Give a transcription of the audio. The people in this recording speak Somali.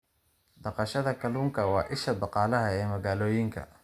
Dhaqashada kalluunka waa isha dhaqaalaha ee magaalooyinka.